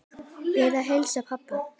Bið að heilsa pabba.